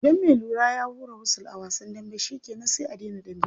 Idan me lura ya hura wusul a wasan dambe shikenan sai a dena dambe.